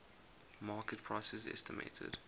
market prices estimated